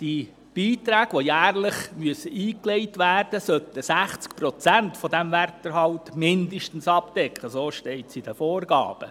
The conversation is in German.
Die Beiträge, die jährlich eingelegt werden müssen, sollten gemäss Vorgaben zumindest 60 Prozent des Werterhalts abdecken.